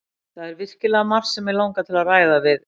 Það er virkilega margt sem mig langar til að ræða við